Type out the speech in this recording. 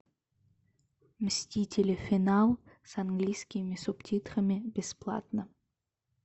мстители финал с английскими субтитрами бесплатно